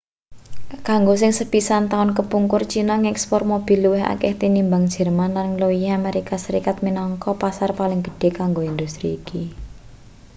kanggo sing sepisan taun kepungkur china ngekspor mobil luwih akeh tinimbang jerman lan ngluwihi amerika serikat minangka pasar paling gedhe kanggo industri iki